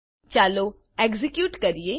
ચાલો એક્ઝેક્યુટ કરીએ